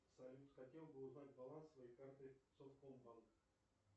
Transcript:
салют хотел бы узнать баланс своей карты совкомбанк